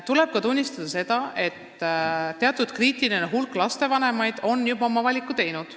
Tuleb tunnistada ka seda, et teatud kriitiline hulk lapsevanemaid on juba oma valiku teinud.